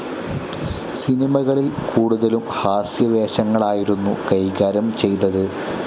സിനിമകളിൽ കൂടുതലും ഹാസ്യവേഷങ്ങളായിരുന്നു കൈകാര്യം ചെയ്തത്.